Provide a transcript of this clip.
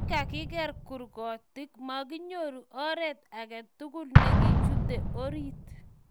Kigagigeer kurgotik, makinyoru oret age tugul nekichute orit